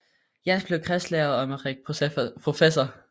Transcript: Jens blev kredslæge og Emmerik professor